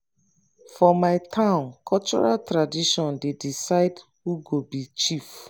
for my town cultural tradition dey decide who go be chief.